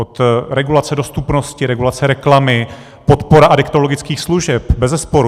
Od regulace dostupnosti, regulace reklamy, podpora adiktologických služeb, bezesporu.